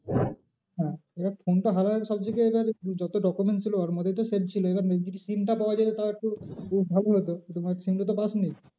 হ্যাঁ এবার phone টা হারালে সব থেকে এবার যত document ছিল ওর মধ্যেই তো save ছিল এবার যদি SIM টা পাওয়া যেত তাহলে একটু, ভালো হত SIM টা তো পাসনি?